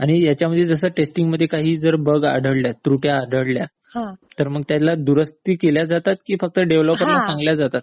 आणि ह्यांच्यामध्ये टेस्टिंग मध्ये जर काही बग आढळले, त्रुट्या आढळल्या, तर त्याला दुरुस्ती केल्या जातात की फक्त डेव्हलपर ला सांगितल्या जातात?